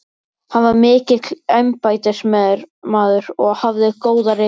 Hann var mikill embættismaður og hafði góða rithönd.